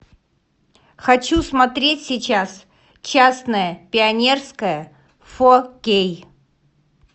хочу смотреть сейчас частное пионерское фо кей